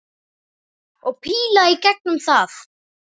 Og píla í gegnum það!